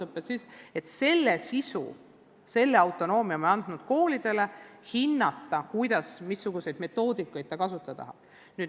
Õppesisu üle otsustamise autonoomia oleme andnud koolidele, samuti oleme andnud neile õiguse hinnata, kuidas ja missugust metoodikat kasutada.